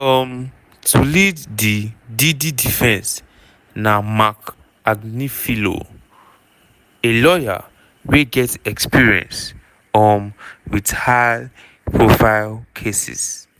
um to lead di diddy defence na marc agnifilo a lawyer wey get experience um wit high-profile cases.